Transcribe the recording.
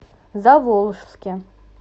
заволжске